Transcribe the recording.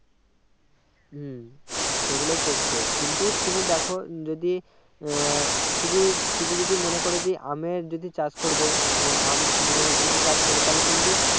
হম সেইগুলা করছে কিন্তু তুমি দেখো যদি আহ শুধু শুধু যদি মনে করো জি আমের যদি চাষ করবো আহ আম এর যদি চাষ করো তাহলে কিন্তু